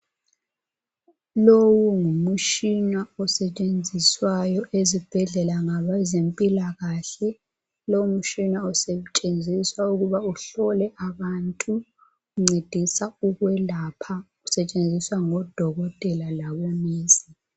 Lowu ngumtshina osetshenziswayo ezibhedlela ngabezempilakahle. Lo mtshina usetshenziswa ukuba uhlole abantu .Uncedisa ukwelapha ..Usetshenziswa ngodokotela labonesi .